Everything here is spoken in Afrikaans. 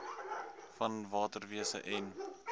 van waterwese en